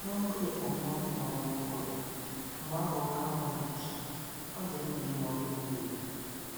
N'oge okpomọkụ maọbụ ụgụrụ, mgbe ahụ oke anwụ na-acha, ọ dị mkpa ịṅụ oke mmiri